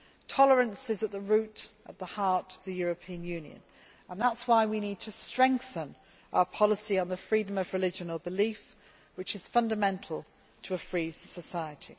Tolerance is at the heart of the European Union, and that is why we need to strengthen our policy on the freedom of religion or belief, which is fundamental to a free society.